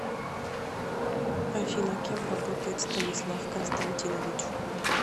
афина кем работает станислав константинович